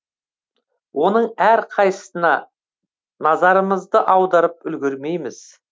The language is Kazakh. оның әрқайсысына назарымызды аударып үлгермейміз